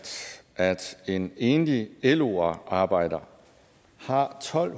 at en enlig lo arbejder har tolv